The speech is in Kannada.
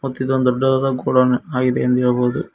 ಮತ್ತಿದೊಂದು ದೊಡ್ಡದಾದ ಗೋಡನ್ ಆಗಿದೆ ಎಂದು ಹೇಳಬಹುದು.